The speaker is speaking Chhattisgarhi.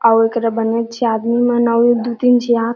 आऊ ए करा बनेच झी आदमी मन आऊ दू तीन झन आके--